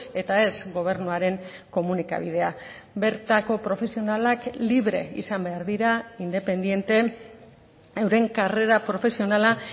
eta ez gobernuaren komunikabidea bertako profesionalak libre izan behar dira independente euren karrera profesionala